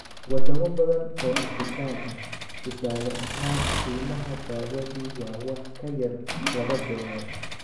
Wadamo badan oo Afrikaan ah, tusaale ahaan, qiimaha dawadu waa wax ka yar laba dollar.